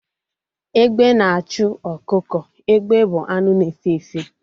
Egbe na-achụ ọkụkọ. Egbe bụ anụ na-efe efe